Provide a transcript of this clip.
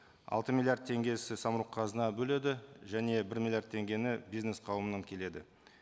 алты миллиард теңгесі самұрық қазына бөледі және бір миллиард теңгені бизнес қауымнан келеді